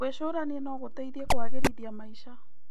Gwĩcũrania no gũteithie kũagĩrithia maica.